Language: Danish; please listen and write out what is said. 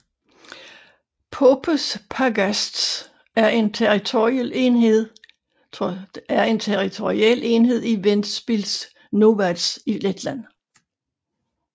Popes pagasts er en territorial enhed i Ventspils novads i Letland